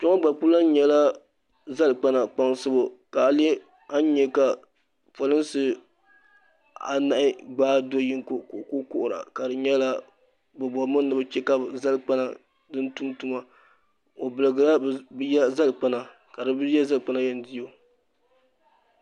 Kpɛŋɔ gba kuli lan nyɛla zali kpana kpaŋsibu shee, ka a nya ka pɔlinsi anahi gbaa doyinɔ kɔ ka ɔkuli kuhira.bɛ bɔrimi ni bɛ chɛ kabɛ zalikpana tum tuma. ɔ birigiɔa bɛ ya maa zalikpana, kabi ya zalikpana yan diɔ